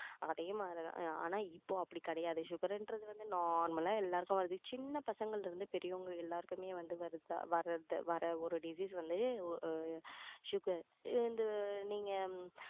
அதே மாதிரிதான் ஆனா இப்போ அப்படி கிடையாது sugar ன்றது வந்து normal ஆ எல்லாருக்கும் வருது சின்ன பசங்களில இருந்து பெரியவங்க எல்லாருக்குமே வந்து வர்றது வர்ற ஒரு disease வந்து sugar அஹ் நீங்க